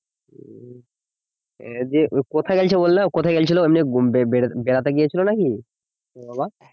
আহ দিয়ে কোথায় গেছিল বললে কোথায় গেছিলো বেঁবেবেড়াতে গিয়েছিল নাকি তোমার বাবা